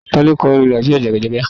Tá ni ó kọ orin "Nàìjíríà jàgàjágá..."?